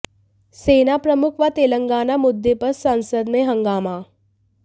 सेना प्रमुख व तेलंगाना मुद्दे पर संसद में हंगामा